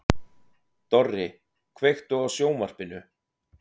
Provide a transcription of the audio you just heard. Dorri, kveiktu á sjónvarpinu.